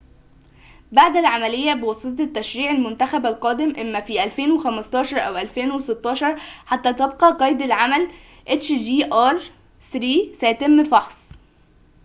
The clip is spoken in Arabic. سيتم فحص hjr-3 بعد العملية بواسطة التشريع المنتخب القادم إما في 2015 أو 2016 حتى تبقى قيد العمل